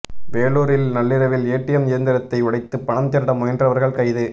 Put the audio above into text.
வேலூரில் நள்ளிரவில் ஏடிஎம் இயந்திரத்தை உடைத்து பணம் திருட முயன்றவர்கள் கைது